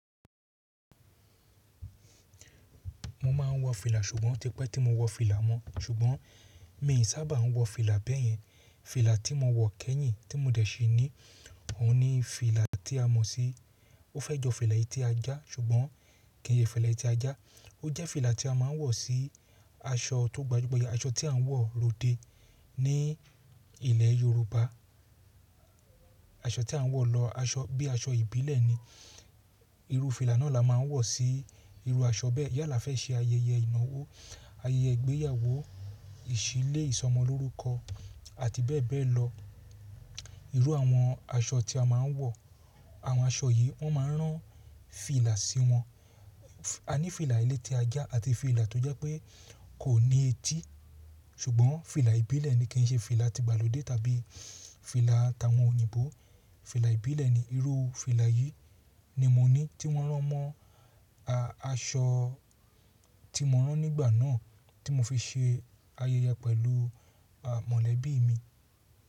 Mo máa ń wọ fìlà, ṣùgbọ́n otí pẹ́ tí mo wọ fìlà mọ, ṣùgbọ́n mi ò sábà ń wọ fìlà bẹ́yẹn. Fìlà tí mo wọ̀ kẹ́yìn tí mo dẹ̀ sí ní, òun ni fìlà tí a mọ̀ sí, ó fẹ́ jọ fìlà ẹlẹ́tí ajá, ṣùgbọ́n kì í ṣe fìlà ẹlẹ́tí ajá. Ó jẹ́ fìlà tí a máa ń wọ̀ sí aṣọ tó gbajúgbajà, aṣọ tí à ń wọ̀ lóde ní ilẹ̀ Yorùbá. Aṣọ tí à ń wọ̀ lọ, bí i aṣọ ìbílẹ̀ ni. Iru fìlà náà la máa ń wọ̀ sí irú aṣọ bẹ́ẹ̀. Yalá afẹ́ ṣe ayẹyẹ ìnáwó, ayẹyẹ ìgbéyàwó, ìṣílé, ìsọmọlórúkọ àti bẹ́ẹ̀bẹ́ẹ̀ lọ. Irú àwọn aṣọ tí a máa ń wọ̀, àwọn aṣọ yìí wọ́n máa ń rán fìlà sí wọn. Aní fìlà elẹ́tí ajá àti fìlà tó jẹ́ pé kò ní etí, ṣùgbọ́n fìlà ìbílẹ̀ ni, kì í ṣe fìlà tígbàlódé tàbí fìlà ta àwọn òyìnbó. Fìlà ìbílẹ̀ ni. Irú fìlà yìí ni mo ní, tí wọ́n rán mọ́ aṣọ tí mo rán nígbà náà, tí mo fi ṣe ayẹyẹ pẹ̀lú mọ̀lẹ́bí mi.